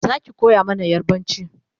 Zaki koya mana yarbanci?